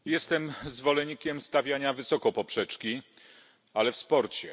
Jestem zwolennikiem stawiania wysoko poprzeczki, ale w sporcie.